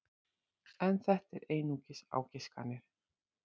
En þetta eru einungis ágiskanir.